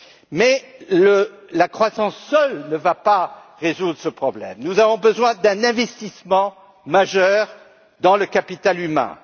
Mais la croissance seule ne va pas résoudre ce problème, nous avons besoin d'un investissement majeur dans le capital humain.